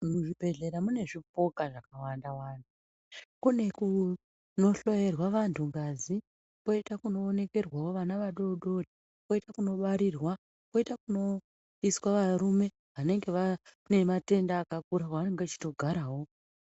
Muzviibhehlera mune zvipoka zvakawanda-wanda, kune kunohloyerwa vantu ngazi , kwoita kunoonekerwa vana vadoodori, kwoita kunobarirwa, kwoita kunoiswa varume vanenge vane matenda akakura, mwevanenge vachitogarawo.